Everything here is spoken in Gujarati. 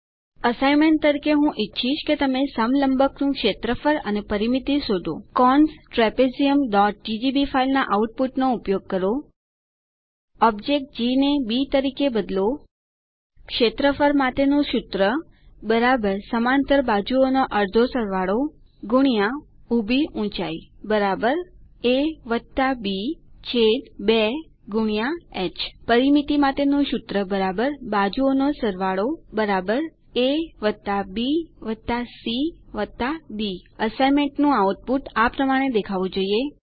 અસાઇન્મેન્ટ તરીકે હું ઈચ્છીશ કે તમે સમલંબકનું ક્ષેત્રફળ અને પરિમિતિ શોધો cons trapeziumજીજીબી ફાઇલના આઉટપુટનો ઉપયોગ કરો ઓબ્જેક્ટ જી ને બી તરીકે બદલો ક્ષેત્રફળ માટેનું સૂત્ર સમાંતર બાજુઓ અડધો સરવાળો ઊભી ઊંચાઇ એ બી 2 હ પરિમિતિ માટેનું સુત્ર બાજુઓ નો સરવાળો A B C D assignment નું આઉટપુટ આ પ્રમાણે દેખાવું જોઈએ